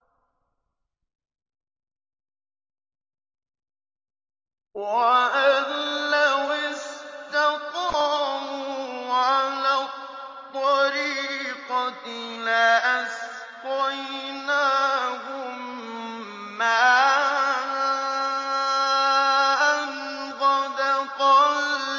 وَأَن لَّوِ اسْتَقَامُوا عَلَى الطَّرِيقَةِ لَأَسْقَيْنَاهُم مَّاءً غَدَقًا